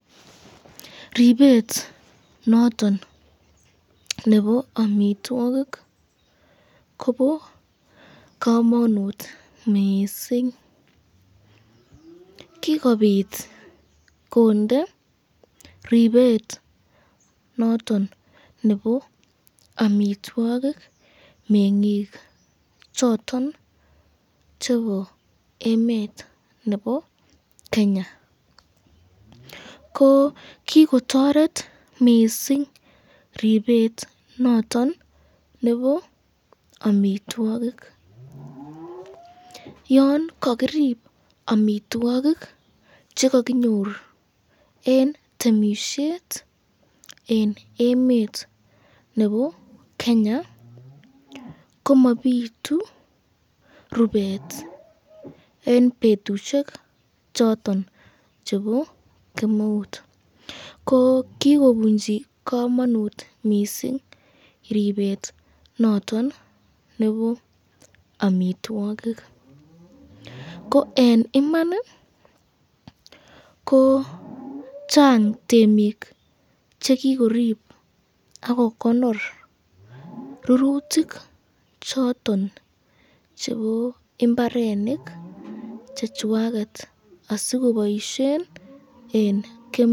Ripet noton nebo amitwokik kobo kamanut kot missing, kikobit kondeet ripet noton nebo amitwokik mengik choton chebo emet nebo Kenya, ko kikotoret mising ripet noton nebo amitwokik, yon kakiri amitwokik chekakingor eng temisyet eng emet nebo Kenya, komabitu eng betushek choton chebo kemeut, ko kikobunchi kamanut mising ripet noton nebo amitwokik, ko eng Iman ko chang temik chekikoib akokonor rurutik choton chebo imbarenik chechwaket asikoboisyen eng kemeut.